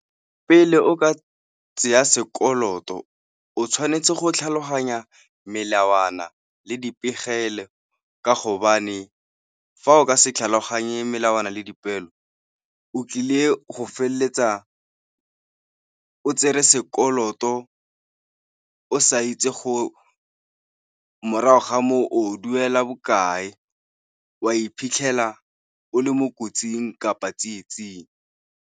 Pele o ka tseya sekoloto, o tshwanetse go tlhaloganya melawana le dipegelo ka gobane fa o ka se tlhaloganye melawana le dipeelo, o tlile go feleletsa o tsere sekoloto o sa itse morago ga moo o duela bokae, wa iphitlhela o le mo kotsing kapa tsietsing.